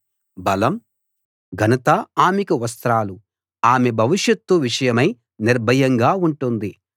బలం ఘనత ఆమెకు వస్త్రాలు ఆమె భవిషత్తు విషయమై నిర్భయంగా ఉంటుంది